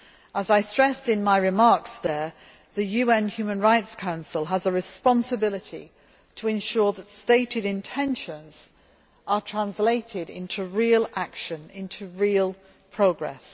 As I stressed in my remarks there, the UN Human Rights Council has a responsibility to ensure that stated intentions are translated into real action and real progress.